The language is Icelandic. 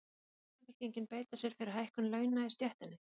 Mun Samfylkingin beita sér fyrir hækkun launa í stéttinni?